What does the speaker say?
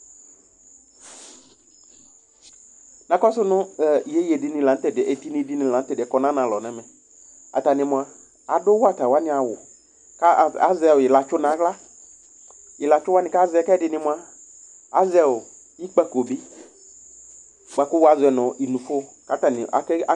Na kɔsu nu hhh iyeyeɖini la nu tu ɛɖiyɛ, ɛtiniɖini la nu tɛɖiyɛ kɔ nu anu alɔ nu ɛmɛ Atani nua, aɖu wata waní awu, ku a azɛ ɔ ilatsu nu aɣla Ilatsu waní ku azɛ, ku ɛɖini mua, azɛ ikpəkõ bi, buaku wazɔɛ nu inufo, ku atani ake ake